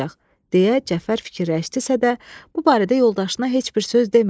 deyə Cəfər fikirləşdisə də, bu barədə yoldaşına heç bir söz demədi.